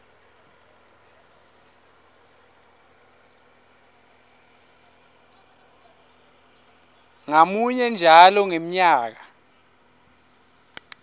ngamunye njalo ngemnyaka